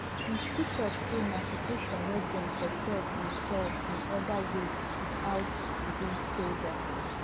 he still tok say na situation wey dem for solve in solve in oda ways wit out using soldiers